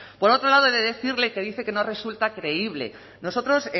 por otro lado he de decirle que dice que no resulta creíble nosotros